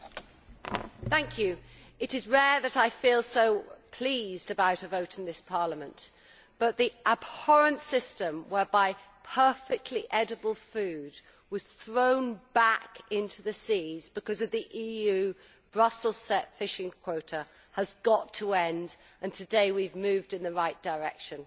Madam President, it is rare that I feel so pleased about a vote in this Parliament, but the abhorrent system whereby perfectly edible food was thrown back into the seas because of the EU Brussels set fishing quota has got to end, and today we have moved in the right direction.